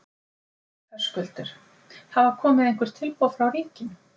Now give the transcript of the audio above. Höskuldur: Hafa komið einhver tilboð frá ríkinu?